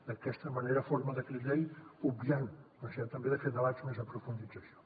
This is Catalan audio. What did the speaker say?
d’aquesta manera en forma de decret llei obviant la generalitat també de fer debats més aprofundits en això